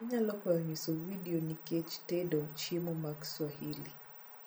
inyalo akwayo nyiso video nikech tedo chiemo mag swahili